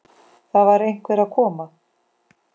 Það var einhver að koma!